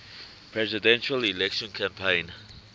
presidential election campaign